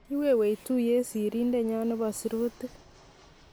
kiwewech tuye serindenyo nebo sirutik